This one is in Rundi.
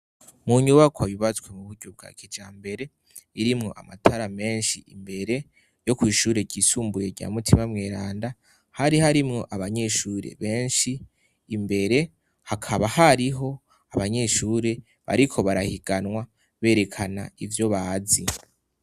mu nyubakwa yubatswe mu buryo bwa kija mbere irimwo amatara menshi imbere yo kw'ishure ryisumbuye rya mutima mweranda hari harimwo abanyeshure benshi imbere hakaba hariho abanyeshure bariko barahiganwa berekana ivyo bazi